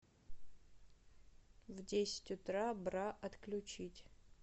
в десять утра бра отключить